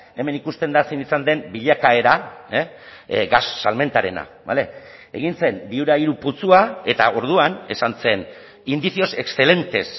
hemen ikusten da zein izan den bilakaera gas salmentarena bale egin zen viura hiru putzua eta orduan esan zen indicios excelentes